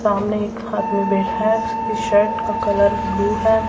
सामने एक आदमी बैठा है जिसकी शर्ट का कलर ब्लू है।